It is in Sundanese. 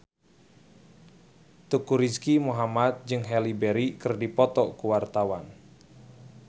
Teuku Rizky Muhammad jeung Halle Berry keur dipoto ku wartawan